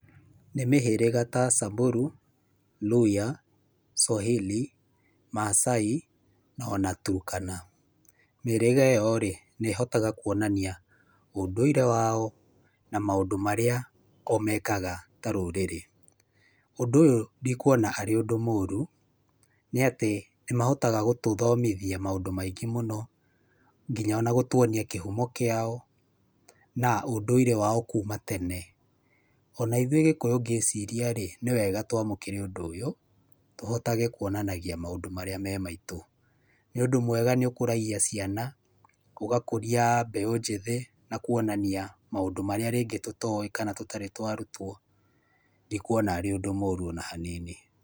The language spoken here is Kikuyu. Nĩ mĩhĩrĩga ta Samburu, Luhya, Swahili, Maasai na ona Turkana. Mĩhĩrĩga ĩno rĩ, nĩ ĩhotaga kwonania ũndũire wao na maũndũ marĩa o mekaga ta rũrĩrĩ. Ũndũ ũyũ ndikwona harĩ ũndũ mũrũ, nĩ atĩ nĩ mahotaga gũtũthomithia maũndũ maingĩ mũno nginya ona gũtũonia kĩhũmo kĩao na ũndũire wao kuuma tene. Ona ithuĩ gĩkũyũ ngĩciria rĩ nĩ wega twamũkĩre ũndũ ũyũ tũhotage kwonanagia maũndũ marĩa memaitũ. Nĩ ũndũ mwega nĩ ũkũragia ciana, ũgakũrĩa mbeũ njĩthĩ na kwonania maũndũ marĩa ningĩ tũtoĩ kana tũtarĩ twa rutwo, ndikwona arĩ ũndũ mũrũ ona hanini.